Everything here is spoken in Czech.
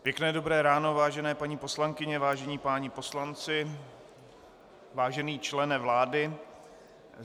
Pěkné dobré ráno, vážené paní poslankyně, vážení páni poslanci, vážený člene vlády.